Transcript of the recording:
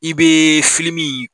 I bɛ in